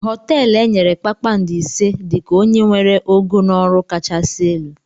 Hoteelu enyere kpakpando ise dị ka onye nwere ogo na ọrụ kachasị elu.